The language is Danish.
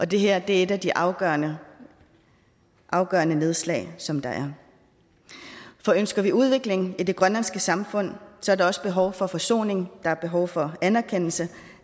det her er et af de afgørende afgørende nedslag som der er for ønsker vi udvikling i det grønlandske samfund så er der også behov for forsoning der er behov for anerkendelse